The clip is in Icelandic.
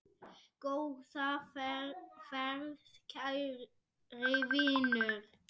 Góða ferð, kæri vinur.